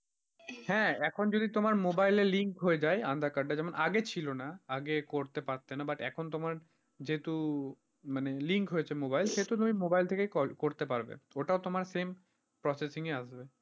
হ্যাঁ এখন যদি তোমার মোবাইলে link হয়ে যাই aadhaar card এর যেমন আগে ছিল না, আগে করতে পারতে না but এখন তোমার যেহেতু মানে link হয়েছে mobile সেহেতু তুমি mobile থেকে করতে পারবে ওটা তোমার same proceedings এ আসবে।